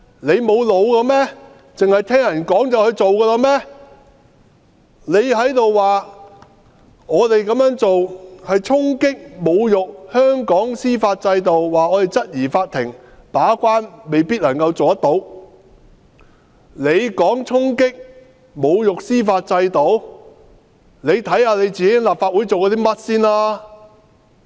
你說我們這樣做是衝擊及侮辱香港的司法制度，指我們質疑法庭未必能做好把關。那麼你先看看自己在立法會做過甚麼？